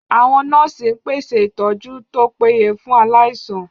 Àwọn nọ́ọ̀sì ń pèsè ìtọ́jú tó péye fún aláìsàn